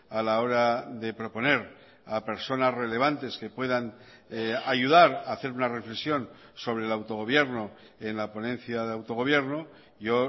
a la hora de proponer a personas relevantes que puedan ayudar a hacer una reflexión sobre el autogobierno en la ponencia de autogobierno yo